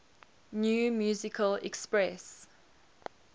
new musical express